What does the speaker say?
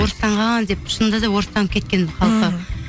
орыстанған деп шынында да орыстанып кеткен халқы